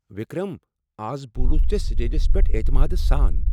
وکرم! از بُولُتھ ژےٚ سٹیجس پیٹھ اعتماد سان ۔